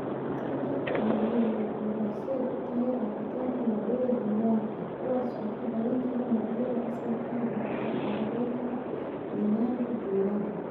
Isbeddelka cimiladu waxay horseed u tahay faafitaanka noocyada duullaanka ah, kuwaas oo ka badin kara noocyada asalka ah oo carqaladayn kara nidaamka deegaanka.